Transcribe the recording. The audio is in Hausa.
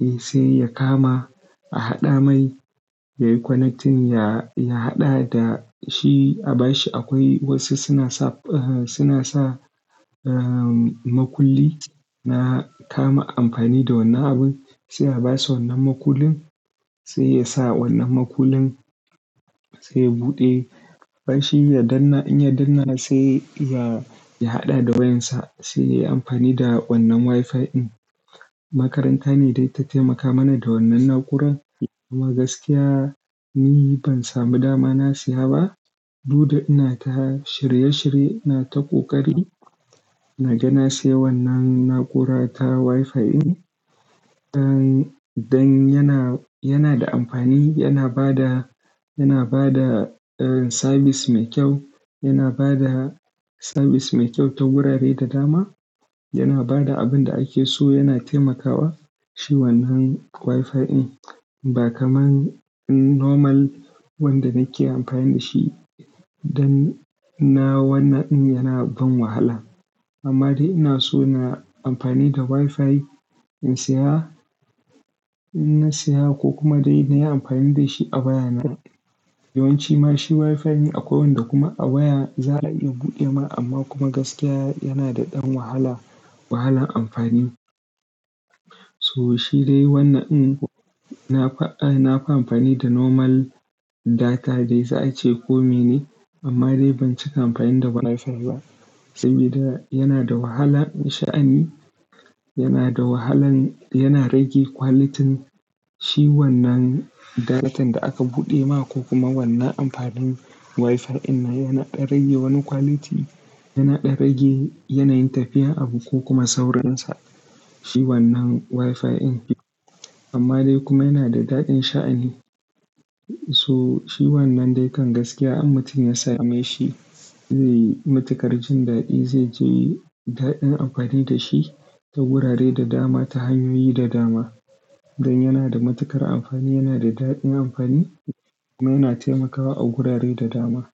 eh sai ya kama a haɗa mai, yayi connecting ya, ya haɗa dashi a bashi akwai wasu suna sa, suna sa, eh makulli na kama amfani da wannan abun sai a basa wannan makullin, sai yasa wannan makullin sai ya buɗe. Bashi ya danna, inya danna sai ya, ya haɗa da wayansa sai yayi amfani da wannan WiFi in. Makaranta ne dai ta taimaka mana da wannan na'uran amma gaskiya ni ban samu dama na siya ba. Duk da inata shirye shirye inata ƙoƙari naga na sai wannan na'ura ta WiFi in. Dan, dan yana, yanada amfani, yana bada, yana bada sabis mai kyau, yana bada sabis mai kyau ta gurare da dama, yana bada abinda akeso yana taimakawa shi wannan WiFi in. Ba kamar normal wanda nake amfani dashi dan na wannan in yana ban wahala. Amma dai inaso na amfani da WiFi in siya, in na siya ko kuma dai nayi amfani dashi a waya na. Yawanci mashi WiFi in akwai wanda kuma a waya za'a iya buɗe ma amma kuma gaskiya yanada ɗan wahala, wahalan amfani. So shi dai wannan in nafi, nafi amfani da normal data dai za a ce kome ne amma dai ban cika amfani da WiFi ba sabida yanada wahalan sha'ani, yanada wahalan, yana rage quality shi wannan datan da aka buɗe ma ko kuma wannan amfanin WiFi dinnan yana ɗan rage wani quality, yana ɗan rage yanayin tafiyar abu ko kuma saurinsa shi wannan WiFi in. Amma dai kuma yanada daɗin sha'ani. So shi wannan dai kan gaskiya in mutum ya sameshi zai yi matuƙar jindaɗi zaij daɗin amfani dashi ta gurare da dama, ta hanyoyi da dama. Dan yana da matuƙar amfani, yana da daɗin amfani kuma yana taimakawa a gurare da dama.